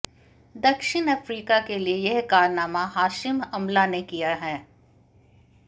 दक्षिण अफ्रीका के लिए यह कारनामा हाशिम अमला ने किया है